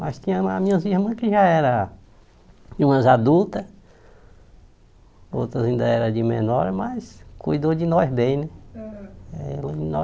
Mas tinha as minhas irmãs que já eram, umas adultas, outras ainda eram de menor, mas cuidou de nós bem, né? Eh